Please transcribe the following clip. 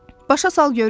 Başa sal görüm.